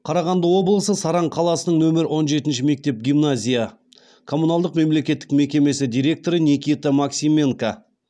қарағанды облысы саран қаласының нөмір он жетінші мектеп гимназия коммуналдық мемлекеттік мекемесі директоры никита максименко